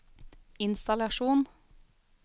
innstallasjon